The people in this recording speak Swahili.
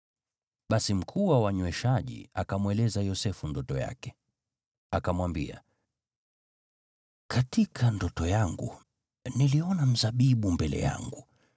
Basi mkuu wa wanyweshaji akamweleza Yosefu ndoto yake. Akamwambia, “Katika ndoto yangu niliona mzabibu mbele yangu,